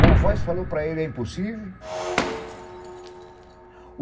Uma voz falou para ele, é impossível.